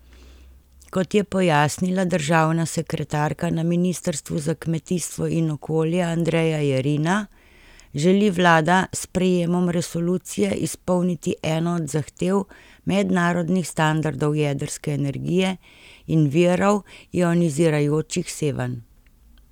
Kot je pojasnila državna sekretarka na ministrstvu za kmetijstvo in okolje Andreja Jerina, želi vlada s sprejemom resolucije izpolniti eno od zahtev mednarodnih standardov jedrske energije in virov ionizirajočih sevanj.